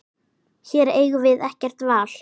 Hér eigum við ekkert val.